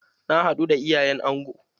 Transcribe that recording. Na haɗu da iyayen angon.